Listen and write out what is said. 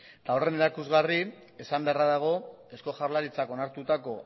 eta horren erakusgarri esan beharra dago eusko jaurlaritzak onartutako